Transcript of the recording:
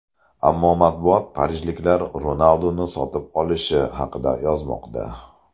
Ammo matbuot parijliklar Ronalduni sotib olishi haqida yozmoqda.